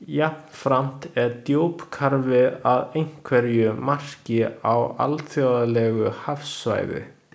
Jafnframt er djúpkarfi að einhverju marki á alþjóðlegu hafsvæði.